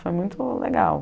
Foi muito legal.